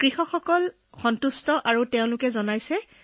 খেতিয়ক ভাইসকল বৰ সন্তুষ্ট হৈ কয় যে তেওঁলোকৰ বৰ ভাল লাগিছে